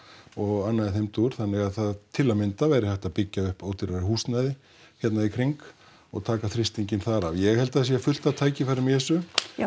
og annað í þeim dúr þannig að til að mynda væri hægt að byggja upp ódýrara húsnæði hérna í kring og taka þrýstinginn þar af ég held að það sé fullt af tækifærum í þessu